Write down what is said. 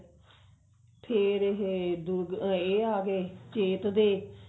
ਫੇਰ ਇਹ ਦੁਜ ਇਹ ਆਗੇ ਚੇਤ ਦੇ